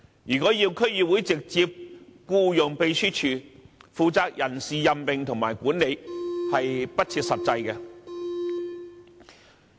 如果要區議會直接僱用秘書處，負責人事任命和管理的工作，是不切實際的。